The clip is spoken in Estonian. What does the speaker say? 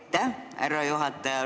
Aitäh, härra juhataja!